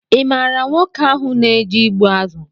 Ị maara nwoke ahụ na-eje ịgbụ azụ